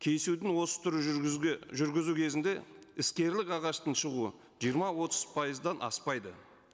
кесудің осы түрі жүргізуге жүргізу кезінде іскерлік ағаштың шығуы жиырма отыз пайыздан аспайды